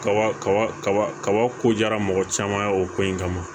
Kaba kaba kaba kabako diyara mɔgɔ caman ye o ko in kama